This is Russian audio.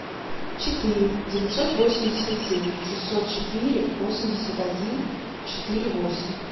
четыре девятьсот восемьдесят семь шестьсот четыре восемьдесят один четыре восемь